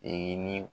E ni